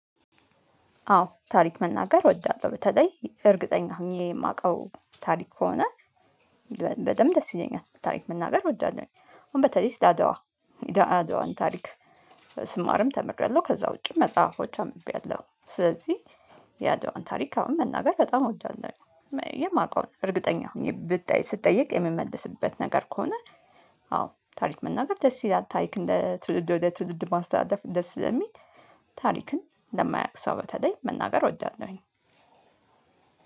አዎ ታሪክ መናገር እወዳለሁ በተለይ እርግጠኛ ሆኜ የማውቀው ታሪክ ከሆነ። በደንብ ደስ ይለኛል ታሪክ መናገር እወዳለሁ። አሁን በተለይ ስለ አድዋ። አድዋን ታሪክ ስማርም ተምሬያለሁ ከዛ ውጪ መጽሐፎች አምብቤያለሁ። ስለዚህ የአድዋን ታሪክ አሁን መናገር በጣም እወዳለሁ። የማውቀው እርግጠኛ ሆኜ ብጠይቅ ስጠየቅ የምመልስበት ነገር ከሆነ። አዎ ታሪክ መናገር ደስ ይላል ታሪክ እንደ ትውልድ ወደ ትውልድ ማስተላለፍ ደስ ስለሚል። ታሪክን ለማያውቅ ሰው በተለይ መናገር ወዳለሁኝ።